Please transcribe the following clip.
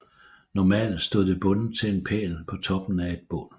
Normalt stod det bundet til en pæl på toppen af et bål